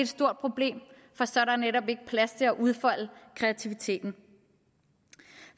stort problem for så er der netop ikke plads til at udfolde kreativiteten